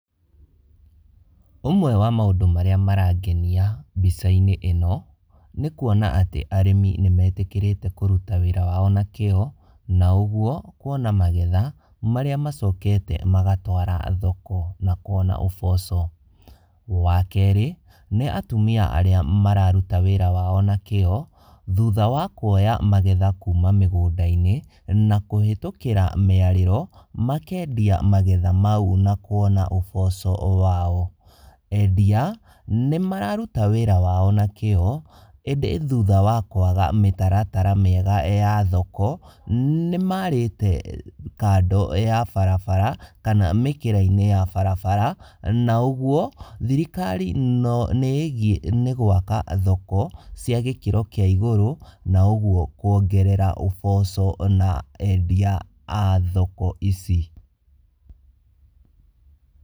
Ũmwe wa maũndũ marĩa marangenia mbica-inĩ ĩno, nĩ kuona atĩ arĩmi nĩmetĩkĩrĩte kũruta wĩra wao na kĩo, na ũguo kuona magetha marĩa macokete magatwara thoko na kuona ũboco. Wa kerĩ, nĩ atumia arĩa mararuta wĩra wao na kĩo, thutha wa kuoya magetha kuma mĩgũnda-inĩ na kũhĩtũkĩra mĩarĩro makendia magetha mau na kuona ũboco wao. Endia, nĩmararuta wĩra wao na kĩo, ĩndĩ thutha wa kwaga mĩtaratara mĩega ya thoko, nĩmarĩte kando ya barabara kana mĩkĩra-inĩ ya barabara, na ũguo thirikari nĩĩgiĩ nĩ gwaka thoko cia gĩkĩro kĩa igũrũ na ũguo kuongerera ũboco na endia a thoko ici.